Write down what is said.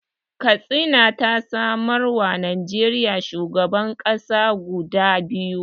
Katsina ta samarwa Najeriya shugaban ƙasa guda biyu